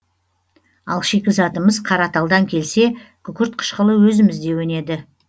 ал шикізатымыз қараталдан келсе күкірт қышқылы өзімізде өнеді